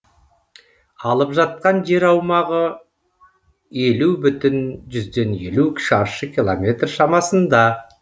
алып жатқан жер аумағы елу бүтін жүзден елу шаршы километр шамасында